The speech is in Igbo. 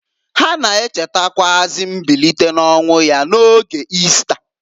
Ha na-echetakwụazị mbilite n'ọnwụ ya n'oge Ista.